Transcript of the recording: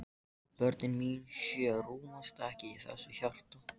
Og börnin mín sjö rúmast ekki í þessu hjarta.